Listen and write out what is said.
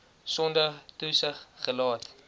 sonder toesig gelaat